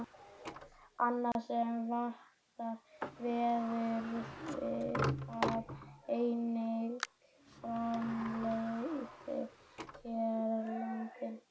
Annað sem vantar, verður það einnig framleitt hérlendis?